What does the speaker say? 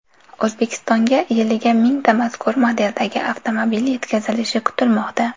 O‘zbekistonga yiliga mingta mazkur modeldagi avtomobil yetkazilishi kutilmoqda.